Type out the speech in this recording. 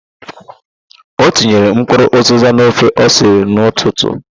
O tinyere mkpụrụ ụzịza n'ofe o siri n'ụtụtụ.